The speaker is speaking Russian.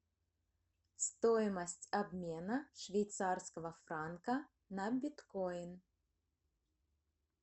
стоимость обмена швейцарского франка на биткоин